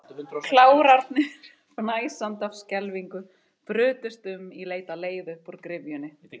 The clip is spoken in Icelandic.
Klárarnir, fnæsandi af skelfingu, brutust um í leit að leið upp úr gryfjunni.